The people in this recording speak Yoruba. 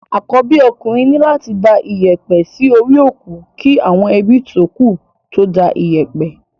Àkọ́bí okùnrin ní láti da iyẹ̀pẹ̀ sí orí òkú kí àwọn ebí tókù tó da iyẹ̀pẹ̀.